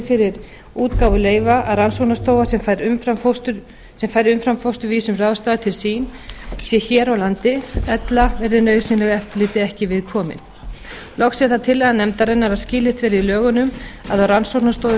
fyrir útgáfu leyfa að rannsóknastofa sem fær umframfósturvísum ráðstafað til sín sé hér á landi ella verði nauðsynlegu eftirliti ekki við komið loks er það tillaga nefndarinnar að skilyrt verði í lögunum að á rannsóknastofu